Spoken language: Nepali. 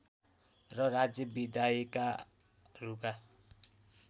र राज्य विधायिकाहरूका